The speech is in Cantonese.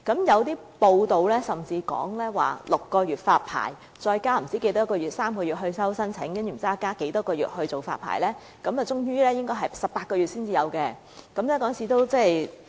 有報道甚至指出 ，6 個月成立發牌委員會，加上3個月接收申請書，再加上不知多少個月審批發牌，最終應該要18個月後才會再有龕位發售。